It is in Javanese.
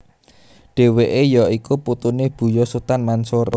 Dheweke ya iku putune Buya Sutan Mansur